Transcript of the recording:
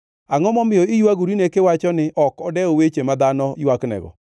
Angʼo momiyo iywagorine kiwacho ni ok odew weche ma dhano ywaknego?